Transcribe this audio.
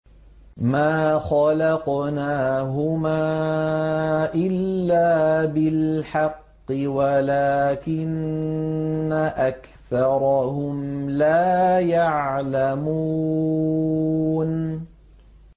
مَا خَلَقْنَاهُمَا إِلَّا بِالْحَقِّ وَلَٰكِنَّ أَكْثَرَهُمْ لَا يَعْلَمُونَ